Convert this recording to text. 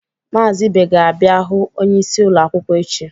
Mazị Ibe ga-abịa hụ onyeisi ụlọ akwụkwọ echi.